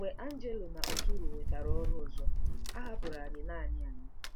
Mgbe Angelo na Arturo nwetara ọrụ ọzọ, a hapụrụ anyị naanị anyị.